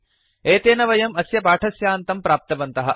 एतेन वयं अस्य पाठस्यान्तं प्राप्तवन्तः